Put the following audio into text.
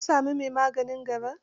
ka sami mai maganin garar?